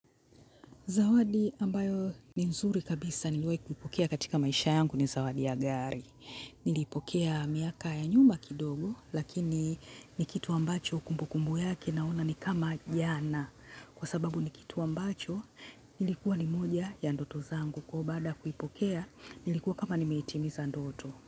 Zawadi ambayo ni nzuri kabisa niliwai kupokea katika maisha yangu ni zawadi ya gari. Nilipokea miaka ya nyuma kidogo, lakini ni kitu ambacho kumbukumbu yake na ona ni kama jana. Kwa sababu ni kitu ambacho, ilikuwa ni moja ya ndoto zangu. Ko baada ya kuipokea ilikuwa kama nimeitimiza ndoto.